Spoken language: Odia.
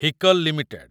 ହିକଲ୍ ଲିମିଟେଡ୍